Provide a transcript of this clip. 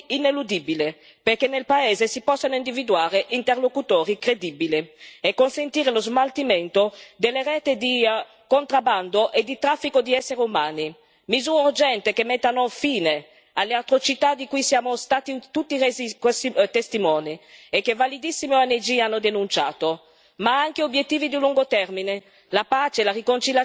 Pace, riconciliazione e ricostruzione, dei presupposti ineludibili perché nel paese si possano individuare interlocutori credibili e consentire lo smaltimento delle reti di contrabbando e di traffico di essere umani. Misure urgenti che mettano fine alle atrocità di cui siamo stati tutti resi testimoni e che validissime ONG hanno denunciato.